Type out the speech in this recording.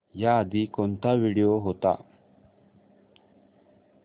याआधी कोणता व्हिडिओ होता